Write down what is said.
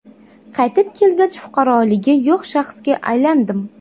Qaytib kelgach, fuqaroligi yo‘q shaxsga aylandim.